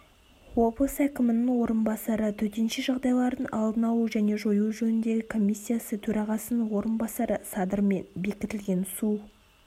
облыс әкімінің орынбасары төтенше жағдайлардың алдын алу және жою жөніндегі комиссиясы төрағасының орынбасары садырмен бекітілген су